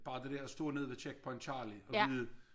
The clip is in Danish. Bare det dér at stå nede ved Checkpoint Charlie og vide